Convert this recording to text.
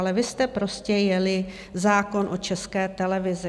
Ale vy jste prostě jeli zákon o České televizi.